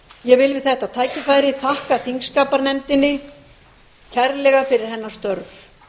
ég vil við þetta tækifæri þakka þingskapanefnd kærlega fyrir hennar störf